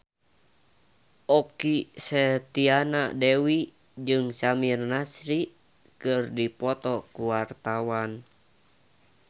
Okky Setiana Dewi jeung Samir Nasri keur dipoto ku wartawan